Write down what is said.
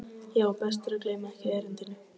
Já, best að gleyma ekki erindinu.